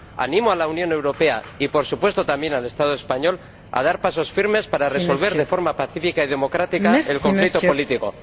Animo a la Unión Europea y, por supuesto, también al Estado español a dar pasos firmes para resolver de forma pacífica y democrática el conflicto político.